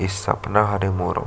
इ सपना हरे मोरो --